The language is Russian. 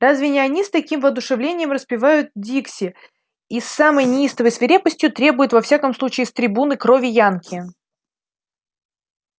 разве не они с таким воодушевлением распевают дикси и с самой неистовой свирепостью требуют во всяком случае с трибуны крови янки